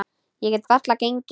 Ég get varla gengið.